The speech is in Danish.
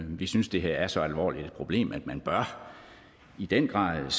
vi synes det her er så alvorligt et problem at man i den grad